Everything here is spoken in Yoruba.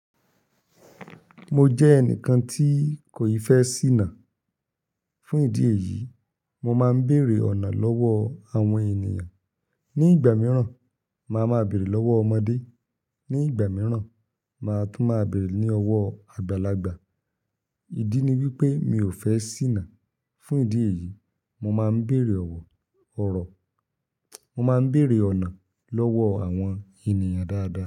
Mo jẹ́ ẹnìkan tí kò yí fẹ́ ṣìnà. Fún ìdí èyí, mo máa ń bèèrè ọ̀nà lọ́wọ́ àwọn ènìyàn. Ní ìgbà mìíràn, màá ma bèèrè lọ́wọ́ ọmọdé, ní ìgbà mìíràn, màá tún máa bèèrè ní ọwọ́ àgbàlagbà. Ìdí ni wípé mi ò fẹ́ ṣìnà. Fún ìdí èyí, mo máa ń bèèrè ọ̀nà lọ́wọ́ àwọn ènìyàn dáadáa.